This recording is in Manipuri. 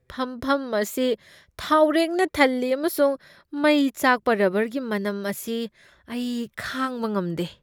ꯐꯝꯐꯝ ꯑꯁꯤ ꯊꯥꯎꯔꯦꯛꯅ ꯊꯜꯂꯤ ꯑꯃꯁꯨꯡ ꯃꯩ ꯆꯥꯛꯄ ꯔꯕꯔꯒꯤ ꯃꯅꯝ ꯑꯁꯤ ꯑꯩ ꯈꯥꯡꯕ ꯉꯝꯗꯦ꯫